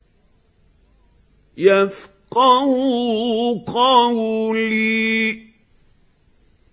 يَفْقَهُوا قَوْلِي